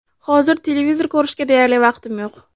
Hozir televizor ko‘rishga deyarli vaqtim yo‘q.